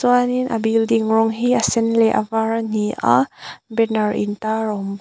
chuanin a building rawng hi a sen leh a var ani a banner in tar a awm bawk.